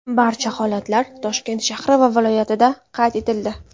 Barcha holatlar Toshkent shahri va viloyatida qayd etildi.